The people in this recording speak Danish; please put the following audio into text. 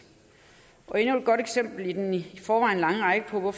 og endnu et godt eksempel i den i forvejen lange række på